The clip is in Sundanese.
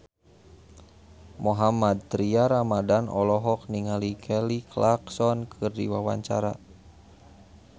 Mohammad Tria Ramadhani olohok ningali Kelly Clarkson keur diwawancara